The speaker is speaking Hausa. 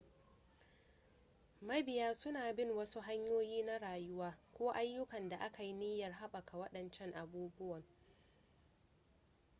mabiya suna bin wasu hanyoyi na rayuwa ko ayyukan da aka yi niyyar haɓaka waɗancan abubuwan